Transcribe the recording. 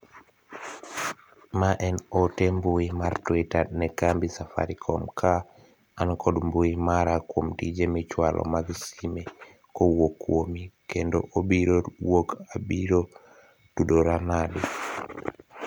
ma en ote mbui mar twita ne kambi safarikom ka an kod mbui mara kuom tije michwalo mag sime kowuok kuomi kendo obiro wuok abiro tudora nade